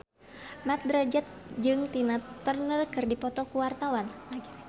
Mat Drajat jeung Tina Turner keur dipoto ku wartawan